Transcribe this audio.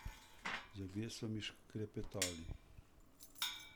Zobje so mi šklepetali.